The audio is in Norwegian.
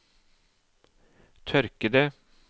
tørkede